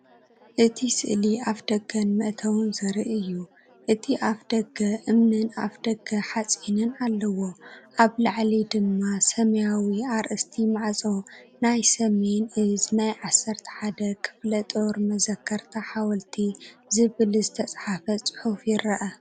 እቲ ስእሊ ኣፍደገን መእተዊን ዘርኢ እዩ። እቲ ኣፍ ደገ እምንን ኣፍደገ ሓጺንን ኣለዎ። ኣብ ላዕሊ ድማ ሰማያዊ ኣርእስቲ ማዕጾ "ናይ ሰሜን ዕዝ ናይ 11 ክፍለጦር መዘከርታ ሓወልቲ" ዝብል ዝተጻሕፈ ጽሑፍ ይርአ።